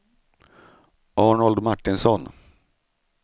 Arnold Martinsson